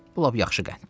Bu lap yaxşı qənddir.